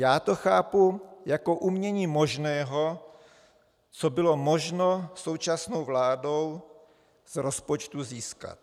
Já to chápu jako umění možného, co bylo možno současnou vládou z rozpočtu získat.